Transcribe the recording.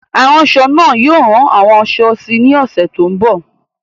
Aránṣọ náà yóò rán àwọn aṣọ síi ní ọ̀sẹ̀ tó ń bọ̀.